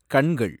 கண்கள்